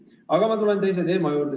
Aga ma tulen teise teema juurde.